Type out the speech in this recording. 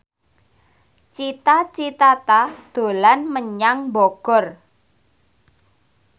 Cita Citata dolan menyang Bogor